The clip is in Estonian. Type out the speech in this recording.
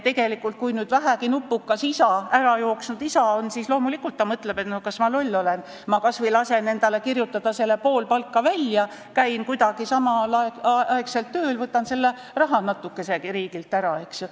Tegelikult, kui ärajooksnud isa vähegi nupukas on, siis ta loomulikult mõtleb, et kas ma loll olen, ma lasen endale kirjutada selle pool palka välja, käin kuidagi samal ajal tööl ja võtan selle rahanatukese riigilt ära, eks ju.